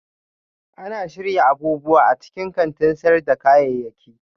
Ana shirya abubuwa a cikin kantin sayar da kayayyaki